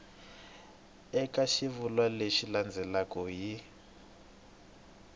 eka xivulwa lexi landzelaka hi